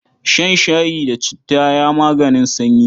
Shan shayi da citta ya maganin sanyi.